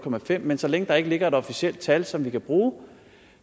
fem men så længe der ikke ligger et officielt tal som vi kan bruge